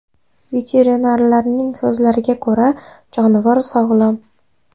Veterinarlarning so‘zlariga ko‘ra, jonivor sog‘lom.